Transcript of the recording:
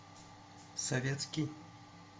советский